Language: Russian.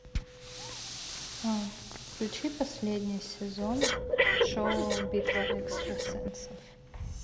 включи последний сезон шоу битва экстрасенсов